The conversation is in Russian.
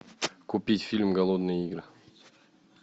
купить фильм голодные игры